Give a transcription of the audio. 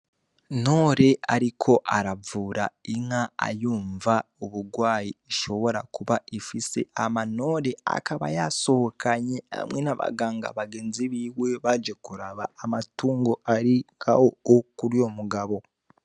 Ntore ariko aravura inka ayumva uburwayi ishobora kuba ifise hama Ntore akaba yasohokanye hamwe n'abaganga bagenzi biwe baje kuraba amatungo ari aho kuruyo mugabo.